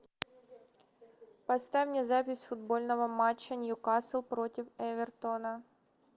поставь мне запись футбольного матча ньюкасл против эвертона